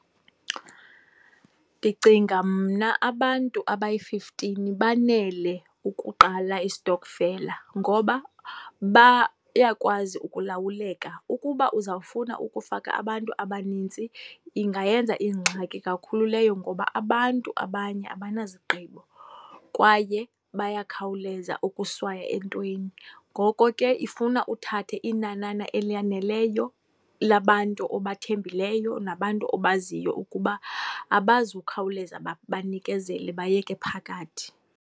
Ndicinga mna abantu abayi-fifteen banele ukuqala istokofela ngoba bayakwazi ukulawuleka. Ukuba uzawufuna ukufaka abantu abanintsi, ingayenza ingxaki kakhulu leyo ngoba abantu abanye abanazigqibo, kwaye bayakhawuleza ukuswaya entweni. Ngoko ke, ifuna uthathe inanana elaneleyo labantu obathembileyo nabantu obaziyo ukuba abazukhawuleza banikezele, bayeke phakathi.